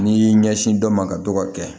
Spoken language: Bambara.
N'i y'i ɲɛsin dɔ ma ka dɔgɔ kɛ